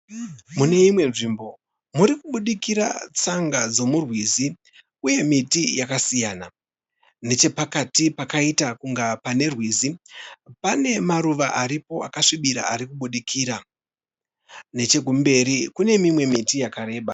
Mune imwe nzvimbo. Murikubudirira tsanga dzomurwizi uye miti yakasiyana. Nechepakati pakaita kunga pane rwizi pane maruva aripo akasvibira arikubudikira. Nechekumberi kune mimwe miti yakareba.